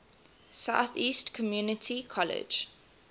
southeast community college